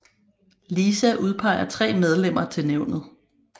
LISA udpeger tre medlemmer til nævnet